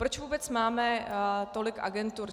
Proč vůbec máme tolik agentur?